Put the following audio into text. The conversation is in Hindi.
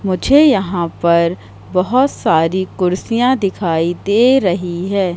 मुझे यहां पर बहोत सारी कुर्सियां दिखाई दे रही है।